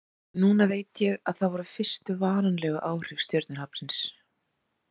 Núna veit ég að það voru fyrstu varanlegu áhrif stjörnuhrapsins.